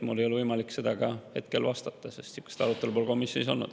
Mul ei ole võimalik sellele hetkel vastata, sest sellist arutelu pole komisjonis olnud.